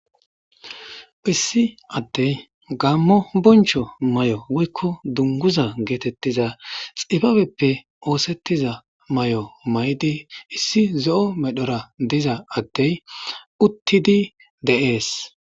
issi addey gammo boncho may7o woykko dunguza geetettiza xifabeppe oosettiza may7o may7di issi zo7o medhora diza addey uttidi deees